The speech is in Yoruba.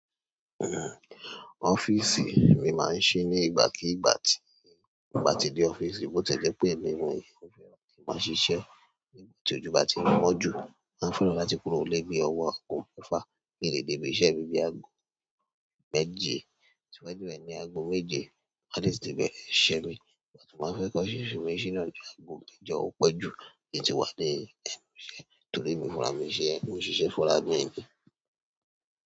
Ọ́fíìsì mi máa ń ṣí nígbàkígbà tí mo bá dé ọ́fíìsì, bó tiẹ̀ jẹ́ pé èmi náà máa ń ṣiṣẹ́. Nígbà tí ojú bá ti mọ́ jù, wọ́n fún ẹni náà láti kúrò nílé bí ọwọ́ aago mẹ́fà. Mi ò lè dé ibi iṣẹ́ mi bóyá ní aago méje. Tiwantiwa ni àgò méje, wọ́n sì ti bẹ̀rẹ̀ iṣẹ́ mi. Mo sì máa fẹ́ kọ́ iṣẹ́ mi sílẹ̀ ní àjọ aago mẹ́jọ, ó pẹ́ jù. Ó ti wá dé ibi iṣẹ́, torí èmi fúnra mi, iṣẹ́, mo ṣiṣẹ́ fúnra mi ni.